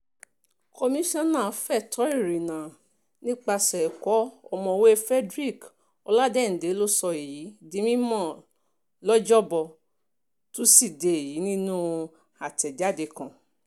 komisanna fẹ̀tọ́ ìrìnnà nípìnlẹ̀ ẹ̀kọ́ ọ̀mọ̀wéé frederick ọládéìndé ló sọ èyí di mímọ lọ́jọ́bọ́ tosidee yìí nínú àtẹ̀jáde kan